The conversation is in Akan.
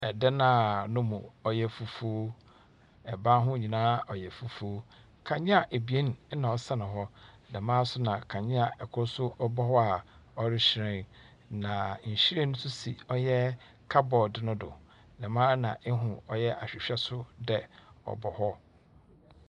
Ɛdan a ne mu ɔyɛ fufu. Ɛban ho nyinaa ɔyɛ fufu. Kanea abien na ɔsɛn hɔ. Dɛmaa nso na kanea ɛkoro nso ɛbɔ ho a ɔrehyerɛn. Na nhwiren nso si ɔyɛ kabɔd no do. Dɛmaa na ehu ɔyɛ ahwehwɛ so dɛ ɔbɔ hɔ.